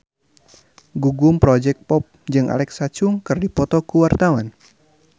Gugum Project Pop jeung Alexa Chung keur dipoto ku wartawan